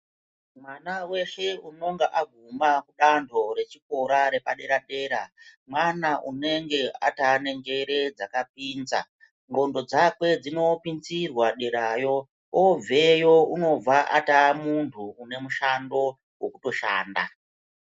Mwana weshe unonga aguma danho rechikora repadera-dera mwana unenge ataane njere dzakapinza, ndxondo dzakwe dzinopinzirwa derayo. Obveyo ataa muntu une mushando wekutoshanda